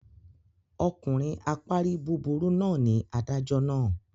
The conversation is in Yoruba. Ọkùnrin apárí búburú náà ni adájọ́ náà.